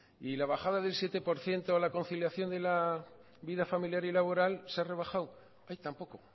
y la bajada del siete por ciento a la conciliación de la vida familiar y laboral se ha rebajado tampoco